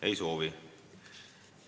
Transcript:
Ei soovi.